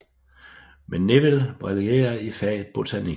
Men Neville brillerer i faget botanik